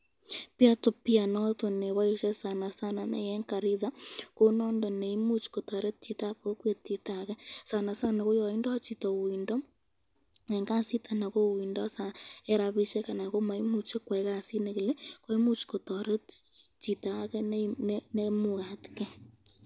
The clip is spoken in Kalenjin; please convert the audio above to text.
Peer to peer noton neboisye sanasana eng Garisa ko nondon neimuchi kotoret chitab kokwet chitake